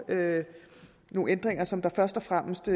nogle ændringer som først og fremmest